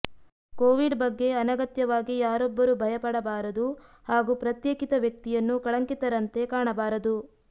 Covid ಬಗ್ಗೆ ಅನಗತ್ಯವಾಗಿ ಯಾರೊಬ್ಬರು ಭಯಪಡಬಾರದು ಹಾಗೂ ಪ್ರತ್ಯೇಕಿತ ವ್ಯಕ್ತಿಯನ್ನು ಕಳಂಕಿತರಂತೆ ಕಾಣಬಾರದು